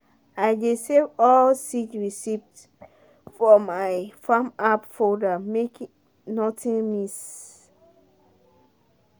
i dey save all seed receipt for my farm app folder make nothing miss.